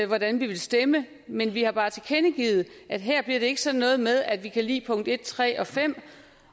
hvordan vi vil stemme men vi har bare tilkendegivet at her bliver det ikke sådan noget med at vi kan lide punkt en tre og fem